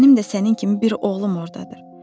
Mənim də sənin kimi bir oğlum ordadır.